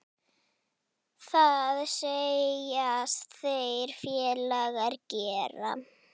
Það segjast þeir félagar gera.